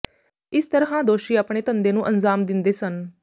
ਇਸ ਤਰ੍ਹਾਂ ਦੋਸ਼ੀ ਆਪਣੇ ਧੰਦੇ ਨੂੰ ਅੰਜ਼ਾਮ ਦਿੰਦੇ ਸਨ